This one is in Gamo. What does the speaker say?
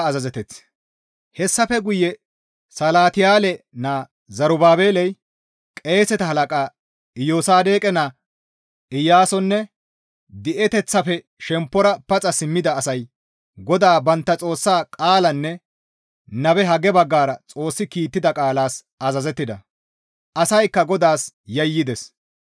Hessafe guye Salatiyaale naa Zerubaabeley qeeseta halaqa Iyosaadoqe naa Iyaasoynne di7eteththafe shemppora paxa simmida asay GODAA bantta Xoossa qaalanne nabe Hagge baggara Xoossi kiittida qaalas azazettida. Asaykka GODAAS yayyides.